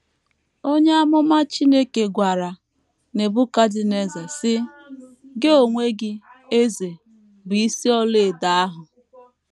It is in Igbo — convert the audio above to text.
Onye amụma Chineke gwara Nebukadneza, sị: “ Gị onwe gị, eze,... bụ isi ọlaedo ahụ. ”